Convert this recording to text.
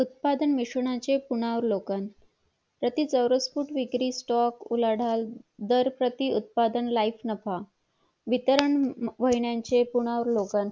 उत्पादन निशून्याचे पुनर्वलोकन प्रति चौरसी फूट विकारी stock उलाढाल दार प्रति उत्पादन life नफा वितरण महिन्याचे पुनवलोकन